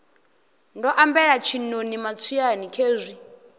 ndo ambela tshiṋoni matswiani khezwi